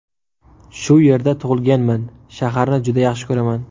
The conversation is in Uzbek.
Shu yerda tug‘ilganman, shaharni juda yaxshi ko‘raman.